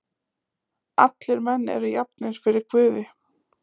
Allir menn eru jafnir fyrir guði.